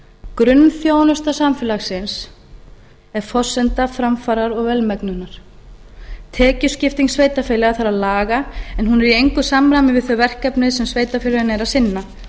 grunnþjónusta samfélagsins er forsenda framfara og velmegunar tekjuskiptingu sveitarfélaga þarf að laga en hún er í engu samræmi við þau verkefni sem sveitarfélögin eru að sinna